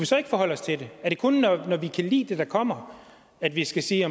så ikke forholde os til det er det kun når vi kan lide det der kommer at vi skal sige